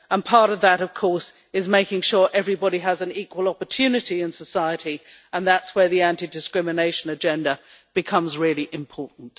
Part of that, of course, is making sure everybody has an equal opportunity in society, and that is where the anti discrimination agenda becomes really important.